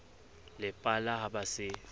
le pala ha ba se